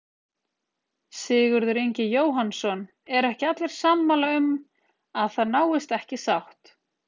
Sigurður Ingi Jóhannsson: Eru ekki allir sammála um að það náist ekki sátt?